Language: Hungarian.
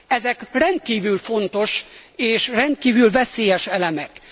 Ezek rendkívül fontos és rendkívül veszélyes elemek.